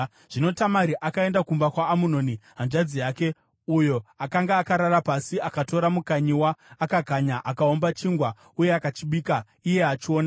Zvino Tamari akaenda kumba kwaAmunoni hanzvadzi yake, uyo akanga akarara pasi. Akatora mukanyiwa, akakanya, akaumba chingwa uye akachibika iye achiona.